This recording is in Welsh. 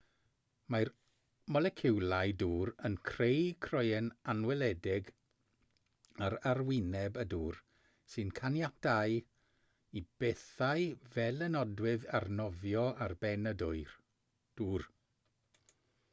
mae'r moleciwlau dŵr yn creu croen anweledig ar arwyneb y dŵr sy'n caniatáu i bethau fel y nodwydd arnofio ar ben y dŵr